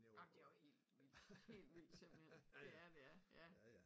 Ej men det jo helt vildt